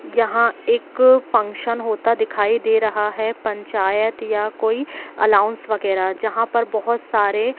यहां एक फंक्शन होता दिखाई दे रहा है पंचायत या कोई एलाउंस वगैरा जहां पर बहुत सारे--